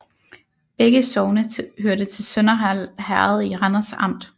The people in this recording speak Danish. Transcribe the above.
Begge sogne hørte til Sønderhald Herred i Randers Amt